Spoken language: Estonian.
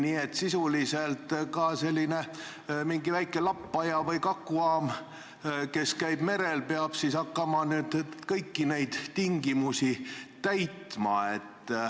Nii et sisuliselt ka selline väike lappaja või kakuam, mis käib merel, peab hakkama kõiki neid tingimusi täitma.